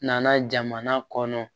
Nana jamana kɔnɔ